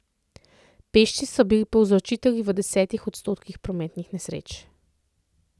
Pešci so bili povzročitelji v deset odstotkih prometnih nesreč.